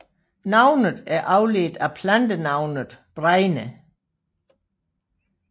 Navnet er afledt af plantenavnet bregne